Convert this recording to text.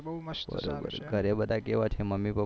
ઘરે બધા કેવા છે મમ્મી પપ્પા